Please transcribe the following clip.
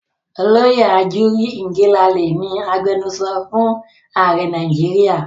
Olóyè Ajuri Ngelale ni agbenusọ fún ààrẹ Nàìjíríà.